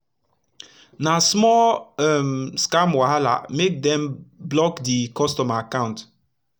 na small um scam wahala make dem block d customer akant